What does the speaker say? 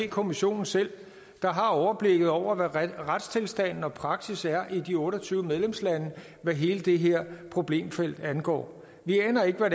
kommissionen selv der har overblik over hvad retstilstanden og praksis er i de otte og tyve medlemslande hvad hele det her problemfelt angår vi aner ikke hvad